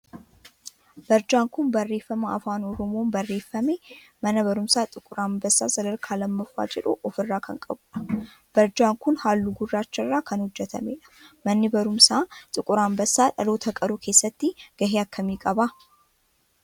Barjaan kun barreeffama afaan oromoon barreeffame mana barumsaa xiquur Anbassaa sadarkaa 2ffaa jedhu of irraa kan qabudha. Barjaan kun halluu gurraacha irraa kan hojjetamedha. Manni barumsaa xiquur Anbassaa dhaloota qaruu keessatti gahee akkamii qaba?